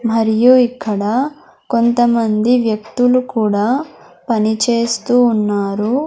మరియు ఇక్కడ కొంతమంది వ్యక్తులు కూడా పనిచేస్తూ ఉన్నారు.